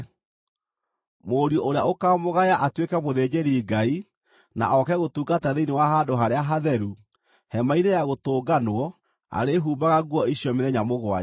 Mũriũ ũrĩa ũkamũgaya atuĩke mũthĩnjĩri-Ngai na oke gũtungata thĩinĩ wa Handũ-Harĩa-Hatheru, Hema-inĩ-ya-Gũtũnganwo arĩĩhumbaga nguo icio mĩthenya mũgwanja.